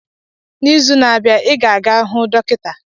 N'izu na-abịa, ị ga-aga hụ dọkịta?